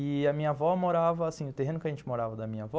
E a minha avó morava assim, o terreno que a gente morava da minha avó